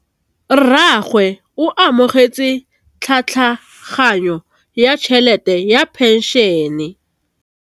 Rragwe o amogetse tlhatlhaganyô ya tšhelête ya phenšene.